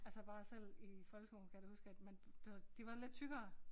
Altså bare selv i folkeskolen kan jeg da huske at man det var de var lidt tykkere